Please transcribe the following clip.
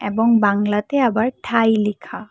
এবং বাংলাতে আবার ঠাই লেখা।